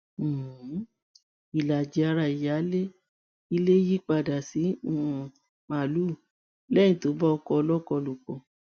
um ìlàjì ara ìyáálé ilé yípadà sí um màálùú lẹyìn tó bá ọkọ ọlọ́kọ lò pọ̀